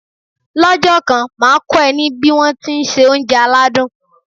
Lọ́jọ́ kan, màá kọ́ ẹ ní bí won tí se oúnjẹ aládùn.